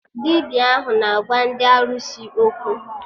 Dibịa ahụ na-agwa ndị arụsị okwu